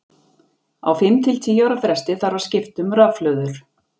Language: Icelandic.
Á fimm til tíu ára fresti þarf að skipta um rafhlöður.